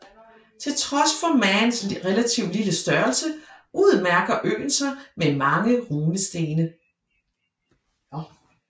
Til trods for Mans relative lille størrelse udmærker øen sig med mange runestene